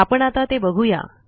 आपण आता ते बघू या